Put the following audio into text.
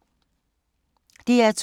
DR2